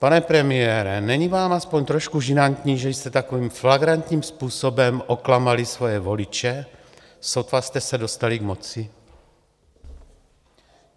Pane premiére, není vám aspoň trošku žinantní, že jste takovým flagrantním způsobem oklamali svoje voliče, sotva jste se dostali k moci?